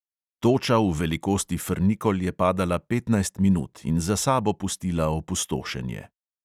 Toča v velikosti frnikol je padala petnajst minut in za sabo pustila opustošenje.